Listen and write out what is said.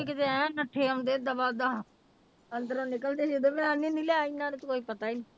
ਕਿਤੇ ਐਨ ਨੱਠੇ ਆਉਂਦੇ ਦਬਾ ਦਬ, ਅੰਦਰੋਂ ਨਿਕਲਦੀ ਸੀ ਉਦੋਂ ਮੈਂ ਲਿਆਈ ਨਾਲ